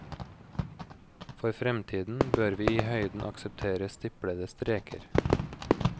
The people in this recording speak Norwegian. For fremtiden bør vi i høyden akseptere stiplede streker.